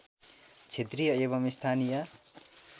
क्षेत्रीय एवं स्थानीय